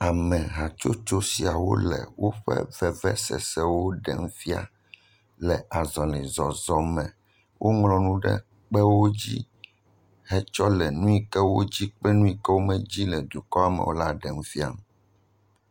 Ame hatsotso siawo le woƒe vevesesewo ɖem fia le azɔlizɔzɔ me, woŋlɔ nuwo ɖe kpewo dzi hetsɔ le nu yi ke wo dzi kple nu yi ke womedzi le dukɔ me ɖem fia.